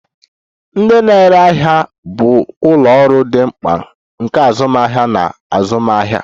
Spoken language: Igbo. Ndị na-ere ahịa bụ ụlọ ọrụ dị mkpa nke azụmahịa na azụmaahịa.